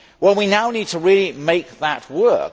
We now need to really make that work.